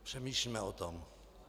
Přemýšlíme o tom.